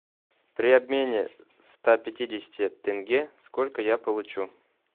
при обмене ста пятидесяти тенге сколько я получу